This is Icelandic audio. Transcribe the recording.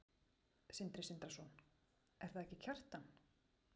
Sindri Sindrason: Er það ekki Kjartan?